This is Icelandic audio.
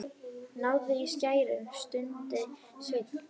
Náðu í skæri, stundi Sveinn.